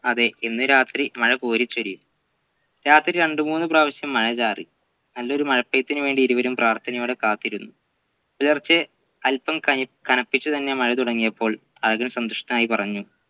അതെ ഇന്ന് രാത്രി മഴ കോരിച്ചൊരിയും രാത്രി രണ്ടു മൂന്ന് പ്രാവിശ്യം മഴ ചാറി നല്ലൊരു മഴപെയ്യ്തിന് വേണ്ടി ഇരുവരും പ്രാർത്ഥനയോടെ കാത്തിരുന്നു പുലർച്ചെ അല്പം കനി കനപ്പിച്ചു തന്നെ മഴതുടങ്ങിയപ്പോൾ അഴകൻ സന്തുഷ്ടനായി പറഞ്ഞു